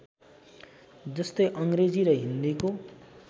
जस्तै अङ्ग्रेजी र हिन्दीको